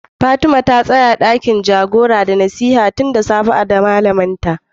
Fatima tanz dakin jagora da nasiha tun da safe da malami Linda.